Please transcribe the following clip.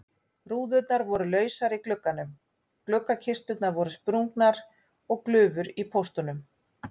Rúðurnar voru lausar í gluggunum, gluggakisturnar voru sprungnar og glufur í póstunum.